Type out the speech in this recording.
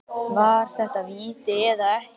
Var þetta víti eða ekki?